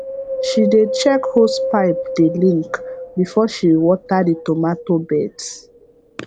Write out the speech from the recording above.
she dey check hose pipe dey link before she water the tomato beds